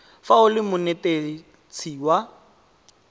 fa o le monetetshi wa